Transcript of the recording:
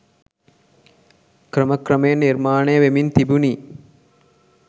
ක්‍රම ක්‍රමයෙන් නිර්මාණය වෙමින් තිබුණි‍.